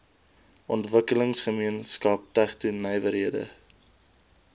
ontwikkelingsgemeenskap tegno nywerhede